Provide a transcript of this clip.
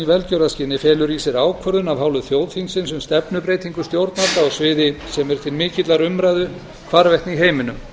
velgjörðarskyni felur í sér ákvörðun af hálfu þjóðþingsins um stefnubreytingu stjórnvalda á sviði sem er til mikillar umræðu hvarvetna í heiminum